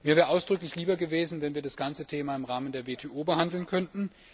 Mir wäre ausdrücklich lieber gewesen, wenn wir das ganze Thema im Rahmen der WTO hätten behandeln können.